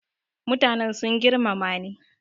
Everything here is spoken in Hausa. mutanen sun girmamani